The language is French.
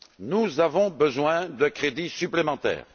Nous avons besoin de crédits supplémentaires!